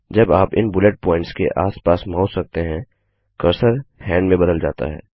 जब आप इन बुलेट प्वॉइंट्स के आस पास माउस रखते हैं कर्सर हैंड में बदल जाता है